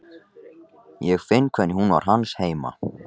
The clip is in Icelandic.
Ég finn hvernig hún var hans heima.